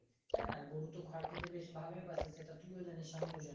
তাইনা গরু তো খড় খেতে বেশ ভালোই বাসে সেটা তুই জানিস আমিও জানি